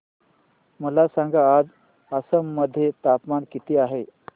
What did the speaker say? मला सांगा आज आसाम मध्ये तापमान किती आहे